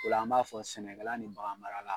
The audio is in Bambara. Ola an b'a fɔ sɛnɛkala ni bagan mara la